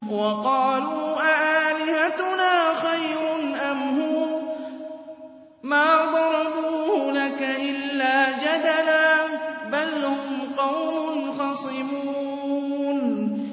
وَقَالُوا أَآلِهَتُنَا خَيْرٌ أَمْ هُوَ ۚ مَا ضَرَبُوهُ لَكَ إِلَّا جَدَلًا ۚ بَلْ هُمْ قَوْمٌ خَصِمُونَ